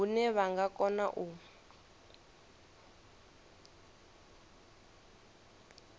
hune vha nga kona u